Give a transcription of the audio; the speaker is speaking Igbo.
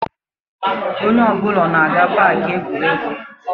Onye ọ bụla ọ na-aga na Pááki egwuregwu?